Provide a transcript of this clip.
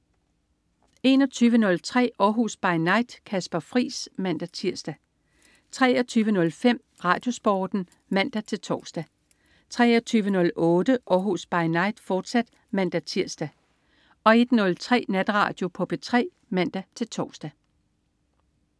21.03 Århus By Night. Kasper Friis (man-tirs) 23.05 RadioSporten (man-tors) 23.08 Århus By Night, fortsat (man-tirs) 01.03 Natradio på P3 (man-tors)